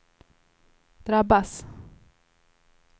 drabbas